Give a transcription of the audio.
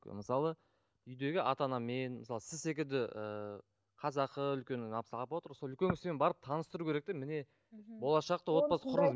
ы мысалы үйдегі ата анамен мысалы сіз секілді ііі қазақы үлкен апа отыр ғой сол үлкен кісімен таныстыру керек те міне болашақта отбасы құру